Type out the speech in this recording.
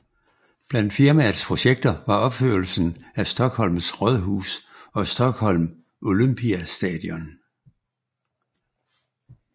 Blandt firmaets projekter var opførelsen af Stockholms rådhus og Stockholm Olympiastadion